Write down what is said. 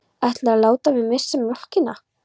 Ætlarðu að láta mig missa mjólkina?